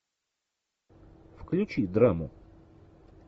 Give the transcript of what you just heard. включи драму